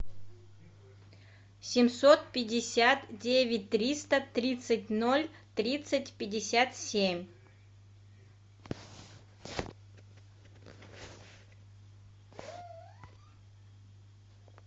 семьсот пятьдесят девять триста тридцать ноль тридцать пятьдесят семь